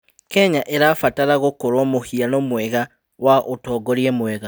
Kenya ĩrabatara gũkorwo mũhiano mwega wa ũtongoria mwega.